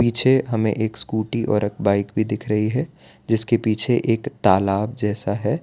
छे हमें एक स्कूटी और एक बाइक भी दिख रही है जिसके पीछे एक तलाब जैसा है।